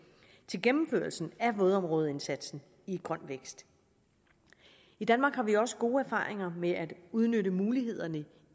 til gennemførelsen af vådområdeindsatsen i grøn vækst i danmark har vi også gode erfaringer med at udnytte mulighederne